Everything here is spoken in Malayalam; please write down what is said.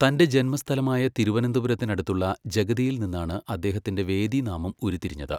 തന്റെ ജന്മസ്ഥലമായ തിരുവനന്തപുരത്തിനടുത്തുള്ള ജഗതിയിൽ നിന്നാണ് അദ്ദേഹത്തിന്റെ വേദിനാമം ഉരുത്തിരിഞ്ഞത്.